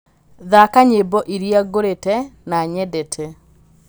thaaka nyĩmbo iria ngũrĩte na nyendete